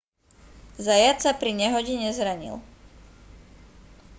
zayat sa pri nehode nezranil